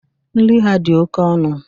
Nri ha dị oke ọnụ.